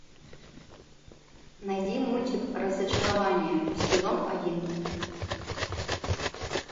найди мультик разочарование сезон один